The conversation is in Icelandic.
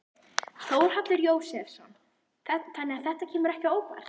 Þórhallur Jósefsson: Þannig að þetta kemur ekki óvart?